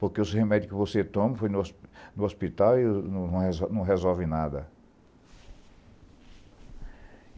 Porque os remédios que você toma no hospital não resolvem nada.